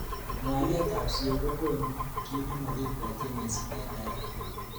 Ngwalet ab siok kokunu ki nemakibwotyin missing eng naet.